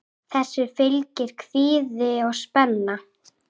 Þessu fylgir kvíði og spenna.